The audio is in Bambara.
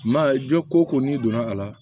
Ma ye jɔ ko ko n'i donna a la